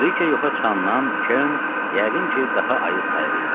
Briç yoxa çıxandan Kern yəqin ki, daha ayıq sayığı idi.